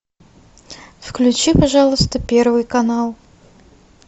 включи пожалуйста первый канал